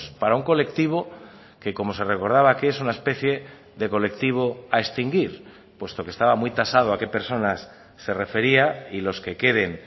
para un colectivo que como se recordaba que es una especie de colectivo a extinguir puesto que estaba muy tasado a qué personas se refería y los que queden